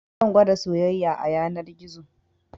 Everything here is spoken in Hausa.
Zan gwada soyayya a yanar gizo